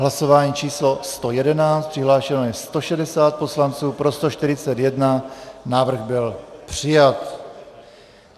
Hlasování číslo 111, přihlášeno je 160 poslanců, pro 141, návrh byl přijat.